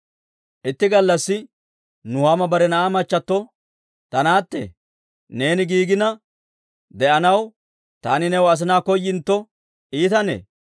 Itti gallassi Nuhaama bare na'aa machchattio, «Ta naatte, neeni giigina de'anaw, taani new asinaa koyintto iitanee?